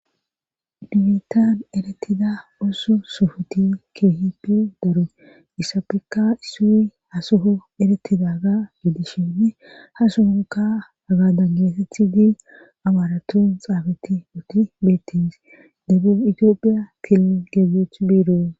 Bittan eretida ooso sofoti keehipe daru isappekka isui hasoho erettida ga gidishene ha sohonka haga dan geesethi diil abaaratun xaafati utti beettins dabin itiophiya til geeggeeth biiroo.